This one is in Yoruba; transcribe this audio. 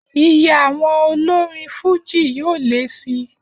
Iye àwọn olorin fújì yóò lé si